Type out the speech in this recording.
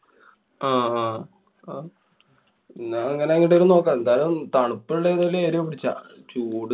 ആഹ് ഹാ. ന്നാ അങ്ങനെങ്ങട്ടേലും നോക്കാം. എന്തായാലും തണുപ്പുള്ള ഏതെങ്കിലും area പിടിച്ചോ. ചൂട്